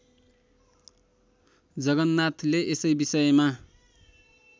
जगन्नाथले यसै विषयमा